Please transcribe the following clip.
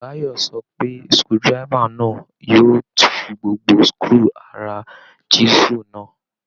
Báyọ̀ sọ pé screwdriver náà yóò tú gbogbo screw ara chiesel náà